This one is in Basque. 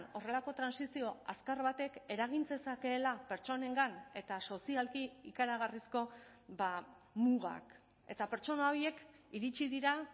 horrelako trantsizio azkar batek eragin zezakeela pertsonengan eta sozialki ikaragarrizko mugak eta pertsona horiek iritsi dira